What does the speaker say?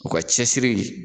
O ka cɛsiri.